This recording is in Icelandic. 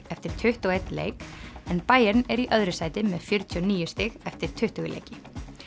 eftir tuttugu og einn leik en Bayern er í öðru sæti með fjörutíu og níu stig eftir tuttugu leiki